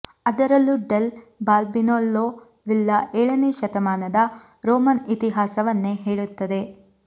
ಅದರಲ್ಲೂ del Balbianello villa ಏಳನೇ ಶತಮಾನದ ರೋಮನ್ ಇತಿಹಾಸವನ್ನೇ ಹೇಳುತ್ತದೆ